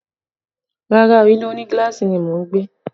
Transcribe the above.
Rárá o, ilé òní gíláàsì ni mo ń gbé